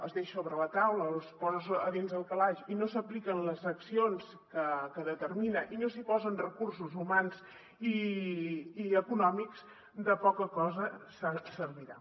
es deixa sobre la taula o es posa a dins el calaix i no s’apliquen les accions que determina i no s’hi posen recursos humans i econòmics de poca cosa servirà